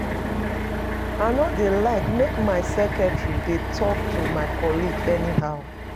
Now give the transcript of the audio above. I no dey like make my secretary dey talk to my colleague anyhow